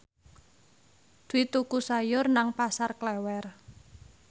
Dwi tuku sayur nang Pasar Klewer